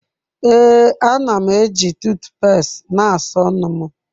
Ee, a na m eji tuut pest na-asa ọnụ m.